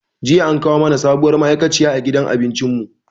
Jiya an kawo mana sabuwar ma'aikaciya a gidan abincin mu.